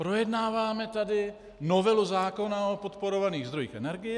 Projednáváme tady novelu zákona o podporovaných zdrojích energie.